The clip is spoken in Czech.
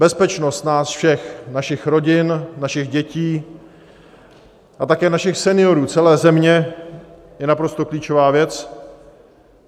Bezpečnost nás všech, našich rodin, našich dětí a také našich seniorů, celé země je naprosto klíčová věc.